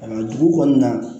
A dugu kɔnɔna na